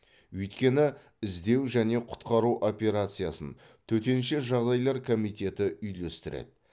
өйткені іздеу және құтқару операциясын төтенше жағдайлар комитеті үйлестіреді